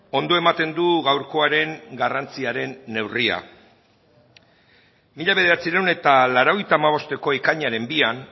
ondo ematen du gaurkoaren garrantziaren neurria mila bederatziehun eta laurogeita hamabosteko ekainaren bian